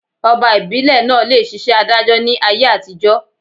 Ọba ìbílè naa le ṣiṣẹ́ adájọ́ ni ayé àtijọ́